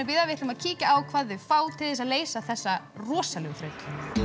við ætlum að kíkja hvað þau fá til þess að leysa þessa rosalegu þraut